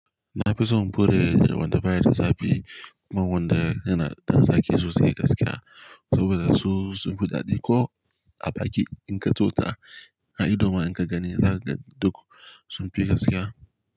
Na fi son buɗe da wanda baya da zafi man wanda yana da zaki sosai gaskiya saboda su sun fi daɗi ko a baki in ka tsotsa. A idoma in ka gani zaka ga duk sun fi gaskiya.